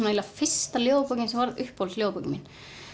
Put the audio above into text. eiginlega fyrsta ljóðabókin sem varð uppáhalds ljóðabókin mín